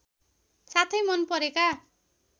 साथै मन परेका